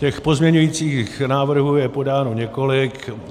Těch pozměňujících návrhů je podáno několik.